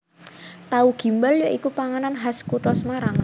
Tahu Gimbal ya iku panganan khas kutha Semarang